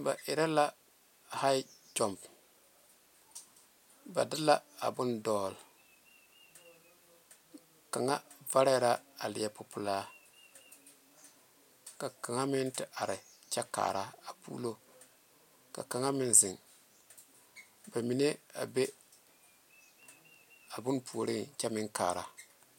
Ba erɛ la hae nyomo ba de la bone dole kaŋ vare la a leɛ pupɛle kyɛ ka kaŋa meŋ te are tuoro kyɛ kaare ka kaŋa meŋ zeŋe a bone puoriŋ kyɛ meŋ kaare.